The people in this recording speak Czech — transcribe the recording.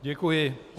Děkuji.